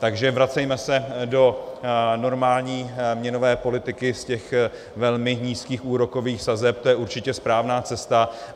Takže vracejme se do normální měnové politiky z těch velmi nízkých úrokových sazeb, to je určitě správná cesta.